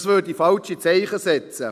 Das würde falsche Zeichen setzen.